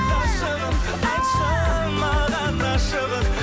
ғашығым айтшы маған ашығын